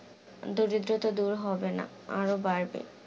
দারিদ্রতা দূর হবে না আরো বাড়বে